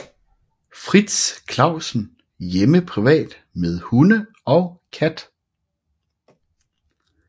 Frits Clausen hjemme privat med hunde og kat